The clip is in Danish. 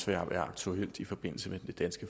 være aktuelt i forbindelse med det danske